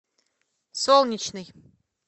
солнечный